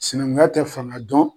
Sinaŋunya tɛ faŋa dɔn